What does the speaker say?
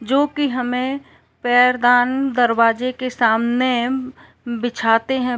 जो कि हमें पैरदान दरवाजे के सामने बिछाते हैं।